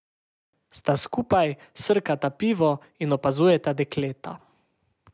Sta skupaj, srkata pivo in opazujeta dekleta.